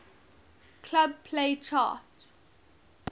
club play chart